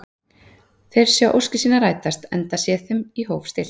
Þeir sjá óskir sínar rætast, enda sé þeim í hóf stillt.